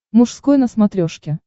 мужской на смотрешке